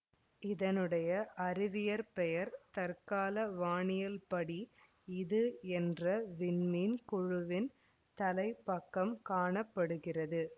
இதனுடைய அறிவியற்பெயர் தற்கால வானியல் படி இது என்ற விண்மீன் குழுவின் தலைப்பக்கம் காண படுகிறது